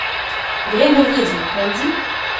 время ведьм найди